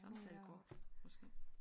Samtalekort? Måske